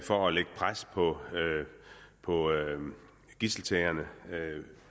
for at lægge pres på på gidseltagerne